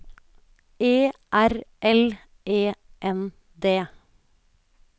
E R L E N D